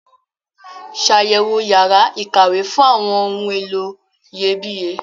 Ṣàyẹ̀wò yàrá ìkàwé fún àwọn ohun èlò iyebíye.